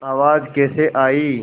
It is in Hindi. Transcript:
आवाज़ कैसे आई